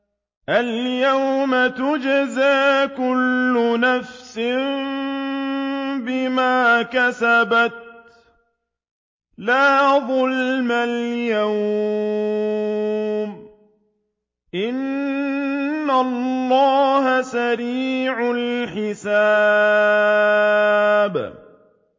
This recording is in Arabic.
الْيَوْمَ تُجْزَىٰ كُلُّ نَفْسٍ بِمَا كَسَبَتْ ۚ لَا ظُلْمَ الْيَوْمَ ۚ إِنَّ اللَّهَ سَرِيعُ الْحِسَابِ